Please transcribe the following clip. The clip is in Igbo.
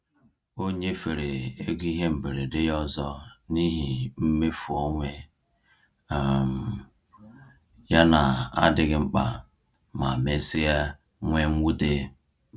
O nyefere ego ihe mberede ya ọzọ n’ihi mmefu onwe um ya na-adịghị mkpa, ma mesịa nwee mwute.